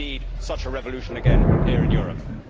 We need such a revolution again here in Europe.